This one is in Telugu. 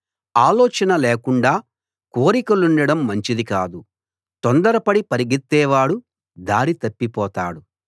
ఆలోచన లేకుండా కోరికలుండడం మంచిది కాదు తొందరపడి పరిగెత్తేవాడు దారి తప్పిపోతాడు